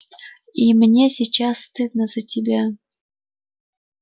и мне сейчас стыдно за тебя